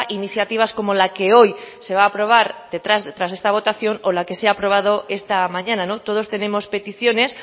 iniciativas como la que hoy se va aprobar detrás de esta votación o la que se ha aprobado esta mañana todos tenemos peticiones